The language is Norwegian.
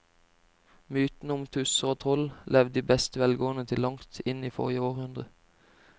Mytene om tusser og troll levde i beste velgående til langt inn i forrige århundre.